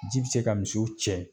Ji bɛ se ka misiw cɛ